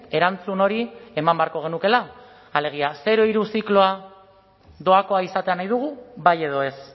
erantzun hori eman beharko genukeela alegia zero hiru zikloa doakoa izatea nahi dugu bai edo ez